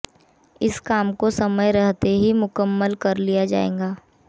इस काम को समय रहते ही मुकम्मल कर लिया जाएगा